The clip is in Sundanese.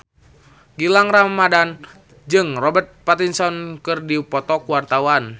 Gilang Ramadan jeung Robert Pattinson keur dipoto ku wartawan